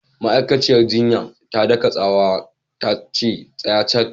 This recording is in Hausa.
Ma'aikaciyar jinyar ta daka tsawa tace "Tsaya cak!"